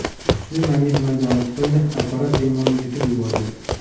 Kuchli magnit maydoni tufayli apparat bemorni yutib yuborgan.